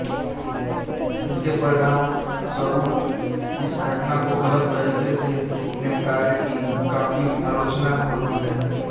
इसके परिणामस्वरूप इस घटना को गलत तरीके से निपटारे की काफी आलोचना होती है